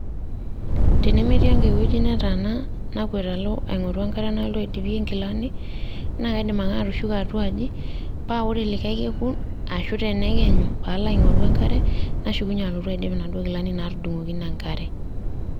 Tenemitii enkae wueji nataana nakwet alo aing'oru enkare nalotu naidipi nkilani, na kaidim ake atushuko atua aji, pa ore likae kekun, ashu tenekenyu, palo aing'oru enkare, nashukunye alotu aidip inaduo kilani natudung'okine enkare.